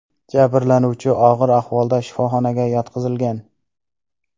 Jabrlanuvchi og‘ir ahvolda shifoxonaga yotqizilgan.